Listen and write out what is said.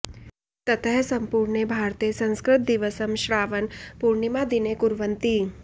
ततः सम्पूर्णे भारते संस्कृत दिवसं श्रावण पूर्णिमा दिने कुर्वन्ति